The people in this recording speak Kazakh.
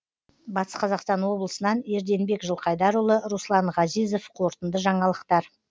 батыс қазақстан облысынан ерденбек жылқайдарұлы руслан ғазизов қорытынды жаңалықтар